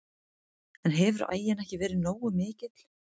En hefur aginn ekki verið nógu mikill?